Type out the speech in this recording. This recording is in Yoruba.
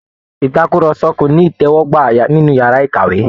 Ìtàkùrọ̀sọ́ ko ní itẹwọgbà nínú yàrá ìkàwé.